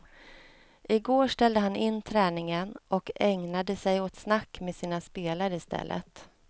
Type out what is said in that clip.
I går ställde han in träningen och ägnade sig åt snack med sina spelare i stället.